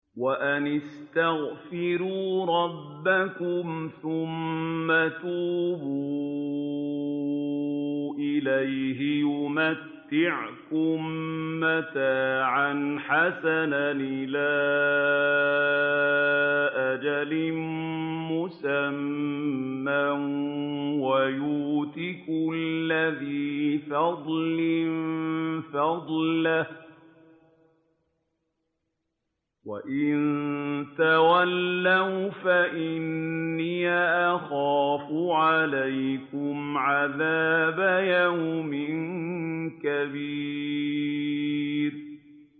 وَأَنِ اسْتَغْفِرُوا رَبَّكُمْ ثُمَّ تُوبُوا إِلَيْهِ يُمَتِّعْكُم مَّتَاعًا حَسَنًا إِلَىٰ أَجَلٍ مُّسَمًّى وَيُؤْتِ كُلَّ ذِي فَضْلٍ فَضْلَهُ ۖ وَإِن تَوَلَّوْا فَإِنِّي أَخَافُ عَلَيْكُمْ عَذَابَ يَوْمٍ كَبِيرٍ